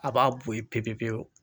A b'a bo ye pepepepewu